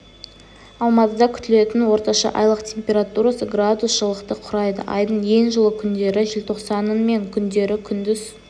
алматыда күтілетін орташа айлық температурасы градус жылықты құрайды айдың ең жылы күндері желтоқсанның мен күндері күндіз